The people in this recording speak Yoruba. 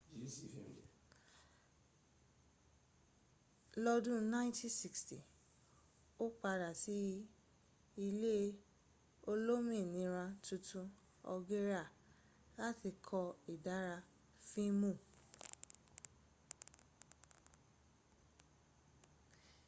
lọ́dún !960 ó padà sí ilẹ̀ olómìnira tuntun algeria láti kọ́ ìdarí fíìmù